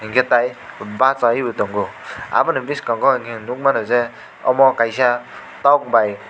hingke tai basai bo tango aboni boskango hingke nogmano je amo kaisa tok bai.